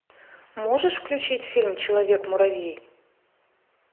можешь включить фильм человек муравей